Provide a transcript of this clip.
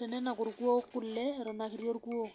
tenenak orkue kule eton aa kiti.